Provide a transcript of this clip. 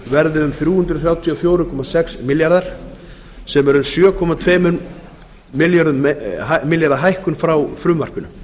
um þrjú hundruð þrjátíu og fjögur komma sex milljarðar sem er um sjö komma tvo milljarða hækkun frá frumvarpinu